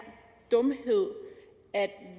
dumhed at